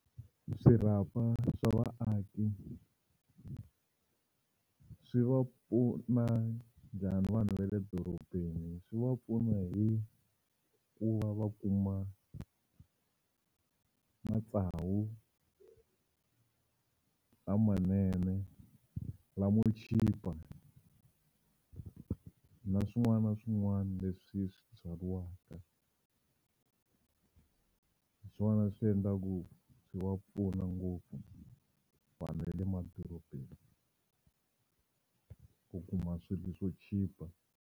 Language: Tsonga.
Swirhapa swa vaaki swi va pfuna njhani vanhu va le dorobeni? Swi va pfuna hi ku va va kuma matsavu lamanene lamo chipa na swin'wana na swin'wana leswi swi byariwaka. Hi swona swi endlaku swi va pfuna ngopfu vanhu va le madorobeni ku kuma swilo swo chipa.